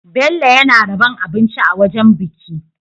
Bello yAna rabon abinci a wajan biki